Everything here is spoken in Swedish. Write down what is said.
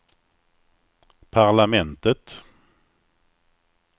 parlamentet